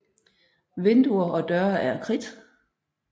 Vinduer og døre er af kridt